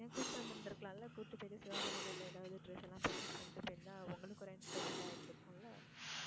ஏன் கூப்பிட்டு வந்து இருந்து இருக்கலாம்ல. கூப்பிட்டு போயிட்டு சிவாஜி நகர்ல எதாவது dress எல்லாம் purchase பண்ணிட்டு போய் இருந்தா உங்களுக்கு ஒரு entertainment ஆ இருந்துருக்கும் இல்ல.